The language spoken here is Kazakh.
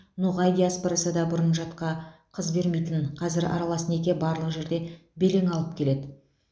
ноғай диаспорасы да бұрын жатқа қыз бермейтін қазір аралас неке барлық жерде белең алып келеді